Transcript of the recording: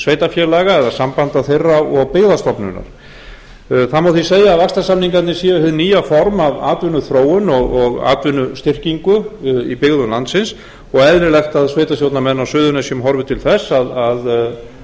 eða sambanda þeirra og byggðastofnunar það má því segja að vaxtarsamningarnir séu hið nýja form að atvinnuþróun og atvinnustyrkingu í byggðum landsins og eðlilegt að sveitarstjórnarmenn á suðurnesjum horfi til þess